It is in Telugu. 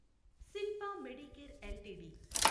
Shilpa Medicare LTD